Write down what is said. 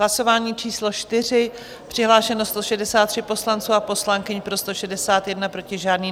Hlasování číslo 4, přihlášeno 163 poslanců a poslankyň, pro 161, proti žádný.